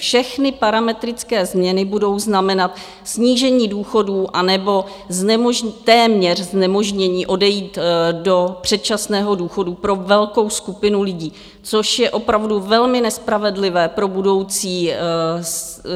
Všechny parametrické změny budou znamenat snížení důchodů, anebo téměř znemožnění odejít do předčasného důchodu pro velkou skupinu lidí, což je opravdu velmi nespravedlivé pro budoucí seniory.